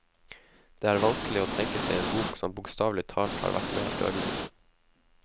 Det er vanskelig å tenke seg en bok som bokstavelig talt har vært mer dødelig.